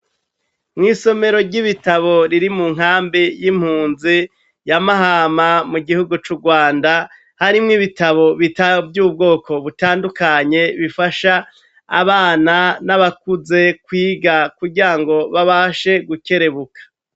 mw' isomero ry'ibitabo riri mu nkambi y'impunzi y'amahama mu gihugu c'u rwanda hari mwo ibitabo bita vy'ubwoko butandukanye bifasha abana n'abakuze kwiga kugira ngo babashe gukerebuka